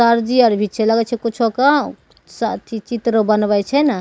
Sir ji आर छै लगे छै कुछो के अथी चित्र बनवे छै न ।